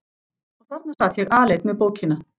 Og þarna sat ég aleinn með bókina.